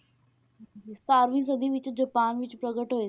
ਤੇ ਸਤਾਰਵੀਂ ਸਦੀ ਵਿੱਚ ਜਾਪਾਨ ਵਿੱਚ ਪ੍ਰਗਟ ਹੋਏ,